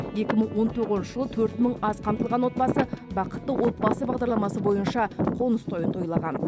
екі мың он тоғызыншы жылы төрт мың аз қамтылған отбасы бақытты отбасы бағдарламасы бойынша қоныс тойын тойлаған